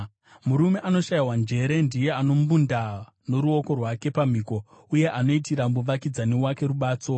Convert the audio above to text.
Munhu anoshayiwa njere ndiye anombunda noruoko rwake pamhiko, uye anoitira muvakidzani wake rubatso.